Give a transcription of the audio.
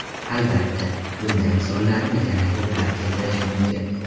Albatta, bunday misollarni yana ko‘plab keltirish mumkin.